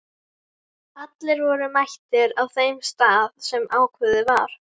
Allir voru mættir á þeim stað sem ákveðið var.